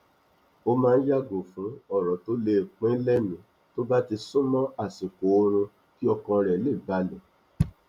ó máa n yàgò fun ọrọ tó le pinnilẹmì tó bá ti súnmọ àṣikò oorun kí ọkàn rẹ le balẹ